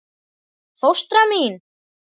Fóstra mín